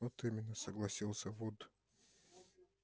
вот именно согласился вуд